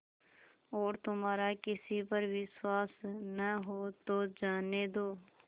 और तुम्हारा किसी पर विश्वास न हो तो जाने दो